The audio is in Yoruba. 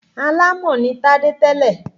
Alámọ̀ ní Tádé tẹ́lẹ̀.